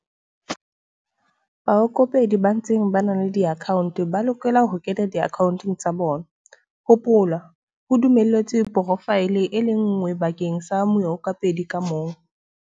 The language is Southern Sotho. Baikopedi ba ntseng ba na le diakhaonte ba lokela ho kena diakhaonteng tsa bona - hopola, ho dumelletswe porofaele e le nngwe bakeng sa moikopedi ka mong.